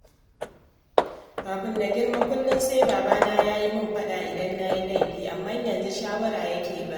Kafin na girma kullum sai babana ya yi min faɗa idan na yi laifi, amma yanzu shawara yake ba ni